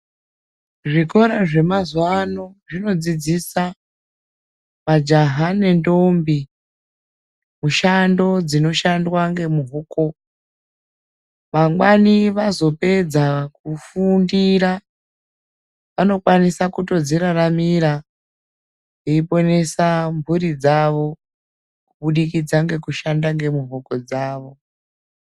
Zvikora zvemazuva ano zvinodzidzisa majaha nendombi mushando dzinoshandwa ngemuhoko. Mangwani vazopedza kufundira vanokwanisa kutodziraramira veiponesa mhuri dzavo kubudikidza ngekushanda ngemuhoko dzavo.